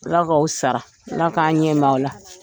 Ala k'aw sara Ala k'an ɲɛ m'aw la.